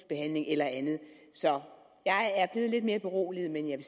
eller andet så jeg er blevet lidt mere beroliget men jeg